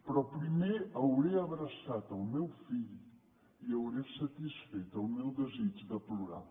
però primer hauré abraçat el meu fill i hauré satisfet el meu desig de plorar